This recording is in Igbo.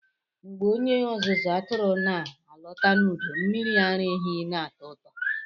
Mgbe onye ọzụzụ atụrụ na-alọta n'udo, mmiri ara ehi na-atọ ụtọ.